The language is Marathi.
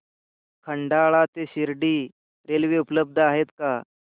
खंडाळा ते शिर्डी रेल्वे उपलब्ध आहे का